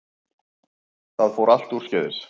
Það fór allt úrskeiðis